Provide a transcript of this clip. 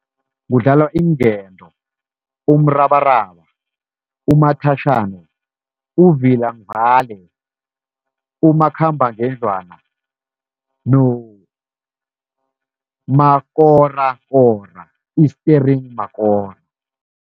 Kudlalwa iinkento, umrabaraba, umathatjhana, uvila ngivale, umakhambangendlwana nomakorakora i-staring makora.